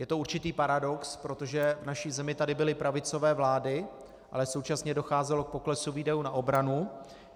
Je to určitý paradox, protože v naší zemi tady byly pravicové vlády, ale současně docházelo k poklesu výdajů na obranu.